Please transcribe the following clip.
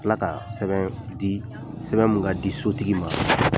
Tila ka sɛbɛn di sɛbɛn mun ka di sotigi ma